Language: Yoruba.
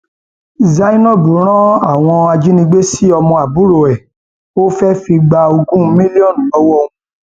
zainab ran àwọn ajínigbé sí ọmọ àbúrò ẹ ó fẹẹ fi gba ogún mílíọnù lọwọ wọn